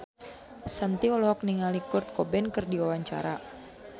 Shanti olohok ningali Kurt Cobain keur diwawancara